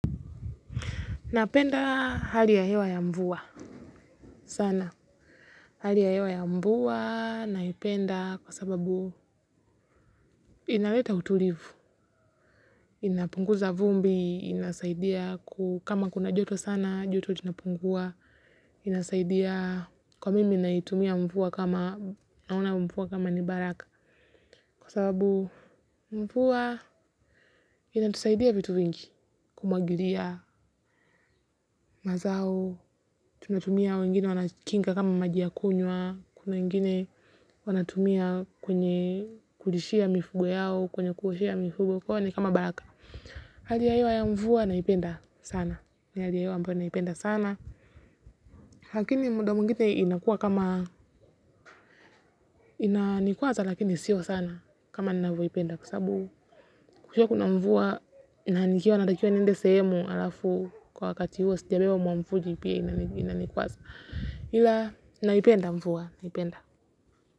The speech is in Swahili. Napenda hali ya hewa ya mvua. Sana. Hali ya hewa ya mvua, naipenda kwa sababu inaleta utulivu. Inapunguza vumbi, inasaidia ku kama kuna joto sana, joto linapungua. Inasaidia kwa mimi naitumia mvua kama naona mvua kama ni baraka. Kwa sababu mvua inatusaidia vitu vingi kumwagilia mazao. Tunatumia wengine wanakinga kama maji ya kunywa. Kuna wengine wanatumia kwenye kuishia mifugo yao. Kwenye kuoshia mifugo kwao ni kama baraka. Hali ya hewa ya mvua naipenda sana ni hali ya hewa ambayo naipenda sana lakini muda mwingine inakuwa kama inankwaza lakini sio sana. Kama ninavyoipenda kwa sababu kwa sababu kukiwa kuna mvua na nikiwa natakiwa niende sehemu alafu kwa wakati huo sijabeba mwamvuli pia inanikwaza ila naipenda mvua naipenda.